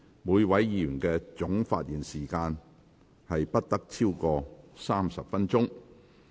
每位議員的總發言時限不得超過30分鐘。